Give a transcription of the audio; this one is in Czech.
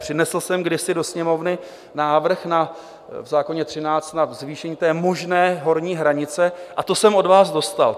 Přinesl jsem kdysi do Sněmovny návrh v zákoně 13 na zvýšení té možné horní hranice, a to jsem od vás dostal.